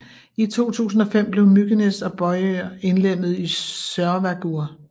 I 2005 blev Mykines og Bøur indlemmede i Sørvágur